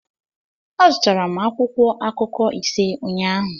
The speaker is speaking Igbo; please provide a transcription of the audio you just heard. Azụtara m akwụkwọ akụkọ ise ụnyahụ